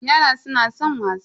Yara suna san wasa.